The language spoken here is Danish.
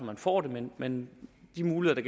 man får det men men de muligheder